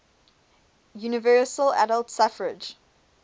universal adult suffrage